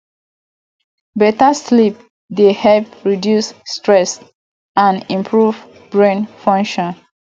beta sleep dey help reduce stress and improve brain function